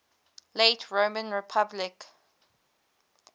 late roman republic